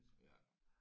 Ja